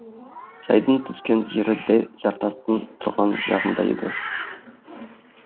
жайдың түскен жері дәл жартастың тұрған жағында еді